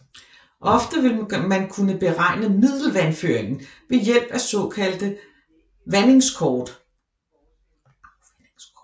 Ofte vil man kunne beregne middelvandføringen ved hjælp af såkaldte afvandingskort